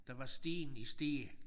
Der var sten i Stege